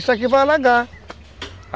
Isso aqui vai alagar.